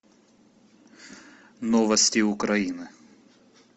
новости украины